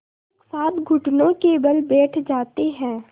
एक साथ घुटनों के बल बैठ जाते हैं